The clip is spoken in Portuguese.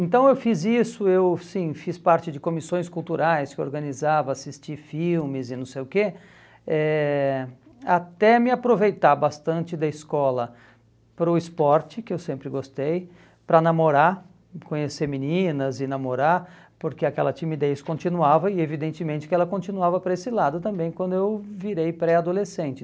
Então eu fiz isso, eu sim, fiz parte de comissões culturais que eu organizava, assisti filmes e não sei o quê, eh até me aproveitar bastante da escola para o esporte, que eu sempre gostei, para namorar, conhecer meninas e namorar, porque aquela timidez continuava e evidentemente que ela continuava para esse lado também quando eu virei pré-adolescente.